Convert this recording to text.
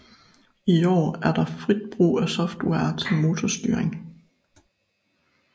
I år er der frit brug af software til motorstyring